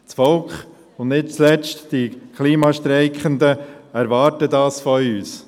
Das Volk und nicht zuletzt die Klimastreikenden erwarten das von uns.